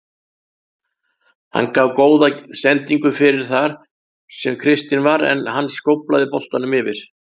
Hann gaf góða sendingu fyrir fyrir þar sem Kristinn var en hann skóflaði boltanum yfir.